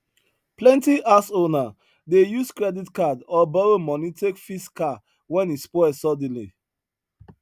plenty house owner dey use credit card or borrow money take fix car when e spoil suddenly